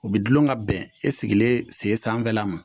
U bɛ dulon ka bɛn e sigilen sen sanfɛla ma